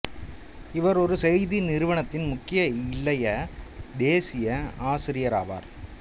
இவர் ஒரு செய்தி நிறுவனத்தின் முக்கிய இளைய தேசிய ஆசிரியராவாவார்